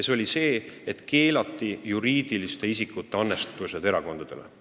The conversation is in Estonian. See oli see, et keelati juriidiliste isikute annetused erakondadele.